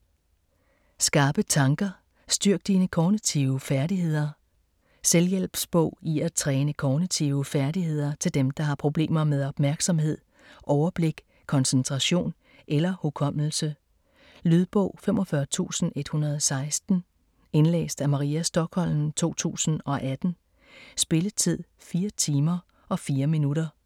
Skarpe tanker: styrk dine kognitive færdigheder Selvhjælpsbog i at træne kognitive færdigheder til dem der har problemer med opmærksomhed, overblik, koncentration eller hukommelse. Lydbog 45116 Indlæst af Maria Stokholm, 2018. Spilletid: 4 timer, 4 minutter.